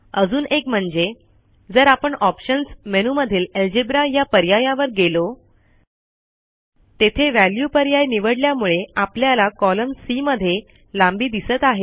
अजून एक म्हणजे जर आपण ऑप्शन्स मेनूमधील अल्जेब्रा या पर्यायावर गेलो तेथे वॅल्यू पर्याय निवडल्यामुळे आपल्याला कॉलम सी मध्ये लांबी दिसत आहे